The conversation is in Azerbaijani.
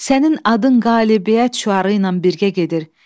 Sənin adın qələbiyyət şüarı ilə birgə gedir.